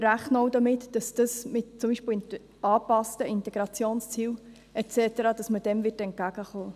Wir rechnen aber auch damit, dass man dem zum Beispiel durch angepasste Integrationsziele und so weiter entgegenkommen wird.